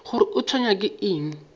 gore o tshwenywa ke eng